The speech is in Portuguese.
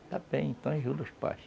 Está bem, então ajuda os pais.